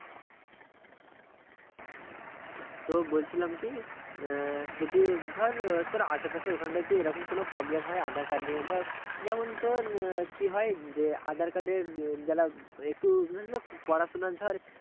তো বলছিলাম কি আহ যদি ধর তোর আশেপাশে ওখানটাই এইরকম কোনো problem হয় aadhar card নিয়ে ধর যেমন তোর কি হয় যে aadhar card এ যারা একটু পড়াশোনা ধর